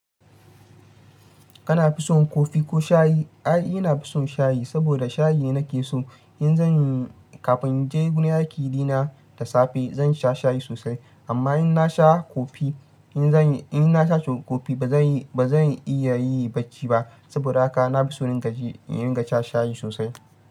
Kana fison kofi ko shayi? Ai, ina fison shayi saboda shayi ne nake so. In zan yi kafin in je gurin aiki ɗina da safe, zan sha shayi sosai. Amma in na sha kofi, in na sha kofi ba zan iya yi bacci ba saboda haka na fi so in ringa sha shayi sosai.